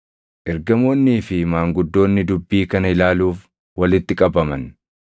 Ergamoonnii fi maanguddoonni dubbii kana ilaaluuf walitti qabaman.